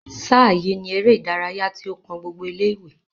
sáà yìi ni eré ìdárayá tí ó kan gbogbo ilé ìwé